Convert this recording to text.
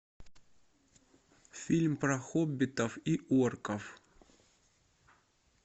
фильм про хоббитов и орков